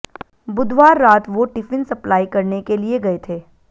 बुधवार रात वो टिफिन सप्लाई करने के लिए गए थे